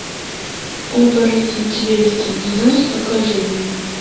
оборотень зверь среди нас покажи мне